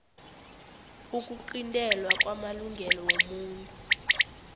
ukuqintelwa kwamalungelo womuntu